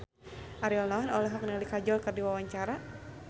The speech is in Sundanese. Ariel Noah olohok ningali Kajol keur diwawancara